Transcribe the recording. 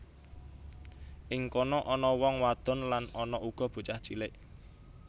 Ing kono ana wong wadon lan ana uga bocah cilik